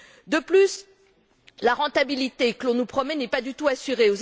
De plus, la rentabilité que l'on nous promet n'est pas du tout assurée.